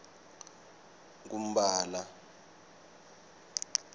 kumphala